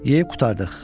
Yeyib qurtardıq.